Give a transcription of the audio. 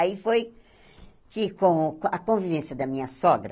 Aí foi que, com a convivência da minha sogra,